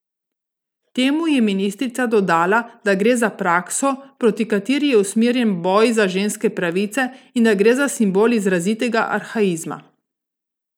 Temu je ministrica dodala, da gre za prakso, proti kateri je usmerjen boj za ženske pravice in da gre za simbol izrazitega arhaizma.